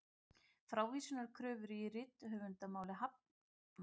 Frávísunarkröfu í riftunarmáli hafnað